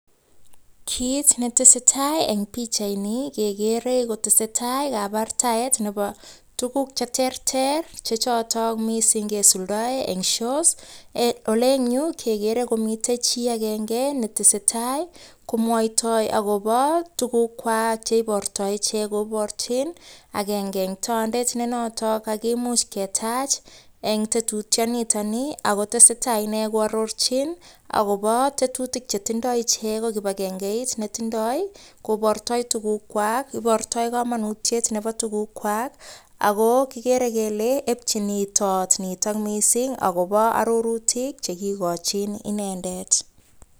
Kiit ne tesetai eng pichaini kekere kotesetai kabartaet nebo tukuk che terter che chotok mising kesuldoe eng shows, ole engyu kekere komitei chi akenge netesetai komwoitoi akobo tukukwak cheibortoi ichek koborchin, akenge eng tondet ne notok kakemuch ketach eng tetutionitoni akotesetai ine koarorchin, akobo tetutik che tindoi ichek ko kibakengeit netindoi kobortoi tukukwak, ibortoi kamanutiet nebo tukukwak, ako kikere kele epchin it toot nitok mising akobo arorutik che kikochin inendet.